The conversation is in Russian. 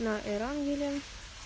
на эрангеле